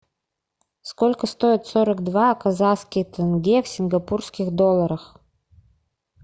сколько стоит сорок два казахских тенге в сингапурских долларах